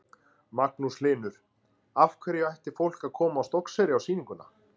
Magnús Hlynur: Af hverju ætti fólk að koma á Stokkseyri á sýninguna?